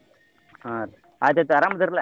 ಹಾ ರ್ರೀ ಆತೈತ ಅರಮದಿರಿಲ್ಲ?